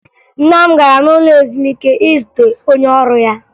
Nna m gara n'ụlọ ezumike izute onye ọrụ ya